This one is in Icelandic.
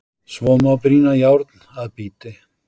Svo má brýna járn að bíti.